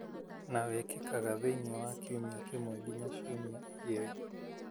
na wĩkĩkaga thĩĩ-inĩ wa kĩumia kĩmwe nginya ciumia igĩrĩ.